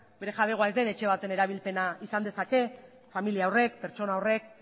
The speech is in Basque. bere jabegoa ez den etxe baten erabilpena izan dezake familia horrek pertsona horrek